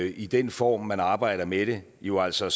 i den form man arbejder med det jo altså